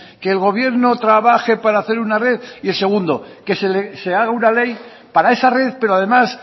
que el gobierno trabaje para hacer una red y en el segundo que se haga una ley para esa red pero además